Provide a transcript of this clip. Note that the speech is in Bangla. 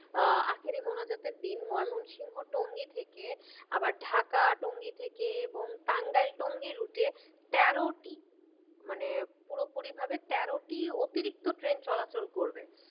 আহ আখেরি মোনাজাতের দিন ময়মংসিংহ টঙ্গী থেকে আবার ঢাকা টঙ্গী থেকে এবং টাঙ্গাইল টঙ্গী route এ তেরোটি মানে পুরোপুরি ভাবে তেরোটি অতিরিক্ত ট্রেন চলাচল করবে।